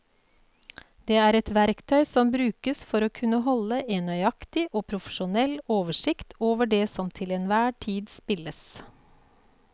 Det er et verktøy som brukes for å kunne holde en nøyaktig og profesjonell oversikt over det som til enhver tid spilles.